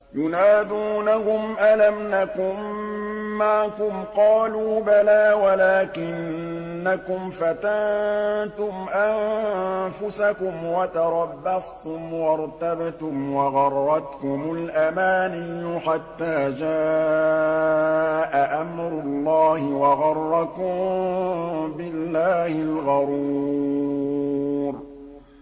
يُنَادُونَهُمْ أَلَمْ نَكُن مَّعَكُمْ ۖ قَالُوا بَلَىٰ وَلَٰكِنَّكُمْ فَتَنتُمْ أَنفُسَكُمْ وَتَرَبَّصْتُمْ وَارْتَبْتُمْ وَغَرَّتْكُمُ الْأَمَانِيُّ حَتَّىٰ جَاءَ أَمْرُ اللَّهِ وَغَرَّكُم بِاللَّهِ الْغَرُورُ